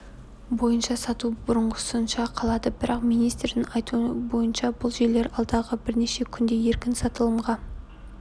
бойынша сату бұрынғысынша қалады бірақ министрдің айтуы бойынша бұл желілер алдағы бірнеше күнде еркін сатылымға